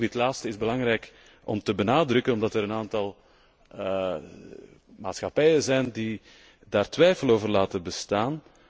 Dit laatste is belangrijk om te benadrukken omdat er een aantal maatschappijen zijn die daar twijfel over laten bestaan.